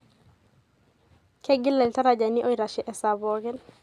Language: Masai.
Kegila iltarajani oitashe esaa pookin.